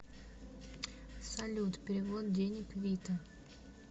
салют перевод денег вита